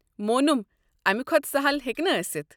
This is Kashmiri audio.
مونُم، امہِ کھۄتہٕ سہَل ہیٚکہِ نہٕ ٲسِتھ۔